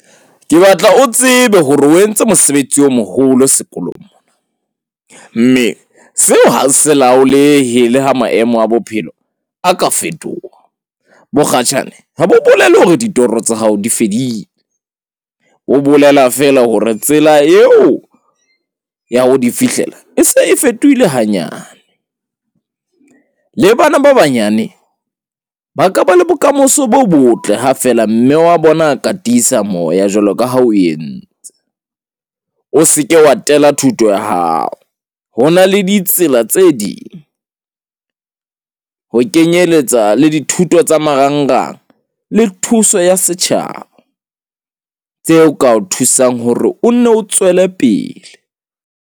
Ke batla o tsebe hore o entse mosebetsi o moholo sekolong. Mme seo ha se laolehe le ha maemo a bophelo a ka fetoha. Bokgatjhane ha bo bolele hore ditoro tsa hao di fedile. Ho bolela feela hore tsela yeo ya ho di fihlela e se e fetohile hanyane. Le bana ba banyane ba ka ba le bokamoso bo botle ha feela mme wa bona a ka tiisa moya jwalo ka ha o entse. O seke wa tela thuto ya hao. Ho na le ditsela tse ding ho kenyeletsa le dithuto tsa marangrang le thuso ya setjhaba, tseo ka o thusang hore o nno o tswele pele.